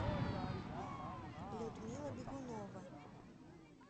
людмила бегунова